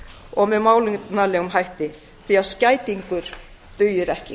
og með málefnalegum hætti því að skætingur dugir ekki